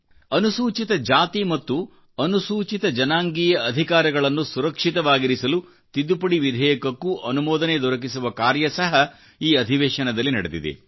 ಅನುಸೂಚಿತ ಜಾತಿಮತ್ತು ಅನುಸೂಚಿತ ಜನಾಂಗೀಯ ಅಧಿಕಾರಗಳನ್ನು ಸುರಕ್ಷಿತವಾಗಿರಿಸಲು ತಿದ್ದುಪಡಿ ವಿಧೇಯಕಕ್ಕೂ ಅನುಮೋದನೆ ದೊರಕಿಸುವ ಕಾರ್ಯ ಸಹ ಈಅಧಿವೇಶನದಲ್ಲಿ ನಡೆದಿದೆ